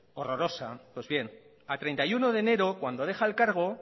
horrorosa pues bien a treinta y uno de enero cuando deja el cargo